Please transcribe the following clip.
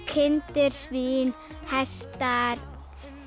kindur svín hestar